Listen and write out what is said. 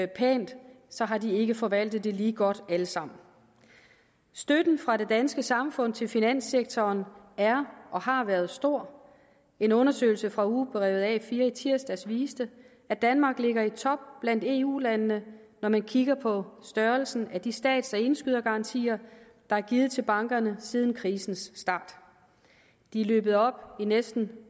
pænt så har de ikke forvaltet det lige godt alle sammen støtten fra det danske samfund til finanssektoren er og har været stor en undersøgelse fra ugebrevet a4 i tirsdags viste at danmark ligger i top blandt eu landene når man kigger på størrelsen af de stats og indskydergarantier der er givet til bankerne siden krisens start de er løbet op i næsten